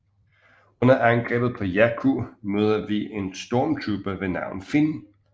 Under angrebet på Jakku møder vi en stormtrooper ved navn Finn